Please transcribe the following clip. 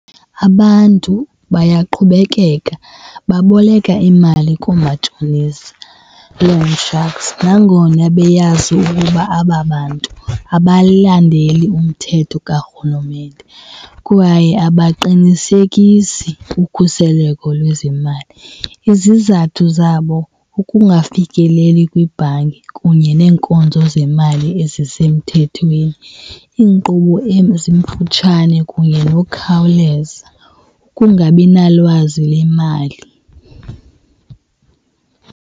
Abantu bayaqhubekeka baboleka imali koomatshonisa, loan sharks, nangona beyazi ukuba aba bantu abalandeli umthetho karhulumente kwaye abaqinisekisi ukhuseleko lwezemali. Izizathu zabo kukungafikeleli kwibhanki kunye neenkonzo zemali ezisemthethweni, iinkqubo ezimfutshane kunye nokhawuleza. Kungabi nalwazi lemali.